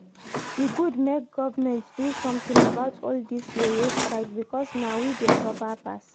E good make government do something about all dis yeye strike because na we dey suffer passs